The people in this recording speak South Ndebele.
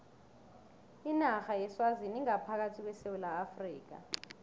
inarha yeswazini ingaphakathi kwesewula afrika